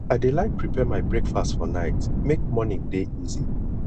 i dey like prepare my breakfast for night make morning dey easy